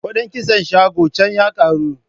Kuɗin kitson shagon can ya karu.